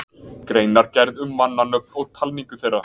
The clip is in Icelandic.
Greinargerð um mannanöfn og talningu þeirra